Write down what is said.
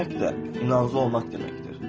Güvənmək də inanclı olmaq deməkdir.